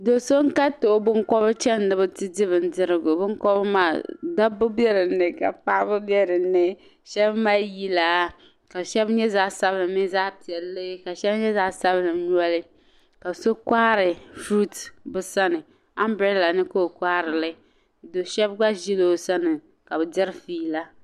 Do' so n-kariti o binkɔbiri chani ni bɛ ti di bindirigu binkɔbiri maa zaɣ' lɔri be bɛ ni ka nyama be bɛ ni. Shɛba mali yila ka shɛba nyɛ zaɣ' sabila mini zaɣ' piɛlli ka shɛba nyɛ zaɣ' sabila noli ka so kɔhiri furuti bɛ sani. Ambirɛla ni ka o kɔhiri li do' shɛba gba ʒila o sani ka bɛ diri fiila.